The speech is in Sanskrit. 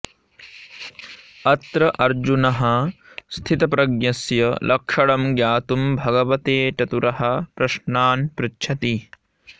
अत्र अर्जुनः स्थितप्रज्ञस्य लक्षणं ज्ञातुं भगवते चतुरः प्रश्नान् पृच्छति